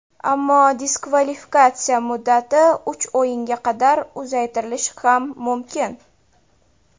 Ammo diskvalifikatsiya muddati uch o‘yinga qadar uzaytirilishi ham mumkin.